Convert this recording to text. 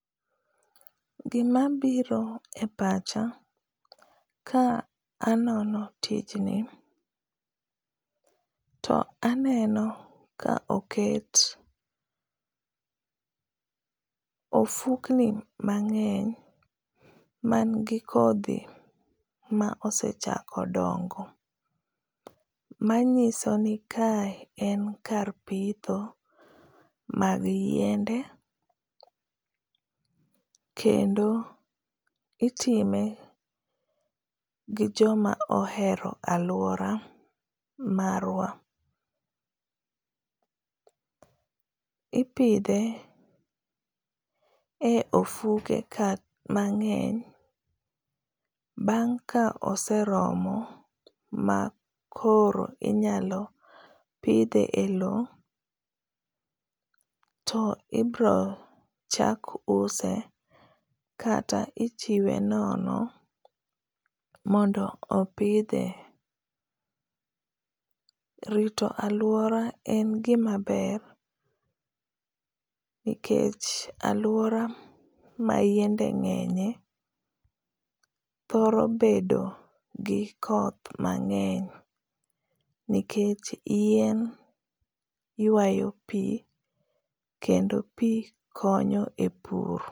Gima biro e pacha ka anono tijni, to aneno ka otek ofukni mang’eny mangi kodhi ma osechako dongo manyiso ni kae en kar pitho mag yiende kendo itime gi joma ohero aluora marwa. Ipidhe e ofuke ka mang’eny, bang’ ka oseromo ma koro inyalo pidhe e loo to ibiro chak use kata ichiwe nono mondo opidhe. Rito aluora en gima maber nikech aluora ma yiende ng’enye thoro bedo gi koth mangeny nikech yien yuayo pii kendo pii konyo e pur.